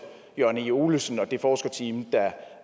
jørgen e olesen og det forskerteam der